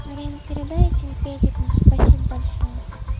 карин передай этим педикам спасибо большое